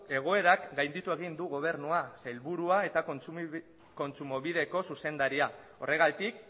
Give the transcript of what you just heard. egoerak gainditu egin du gobernua sailburua eta kontsumobideko zuzendaria horregatik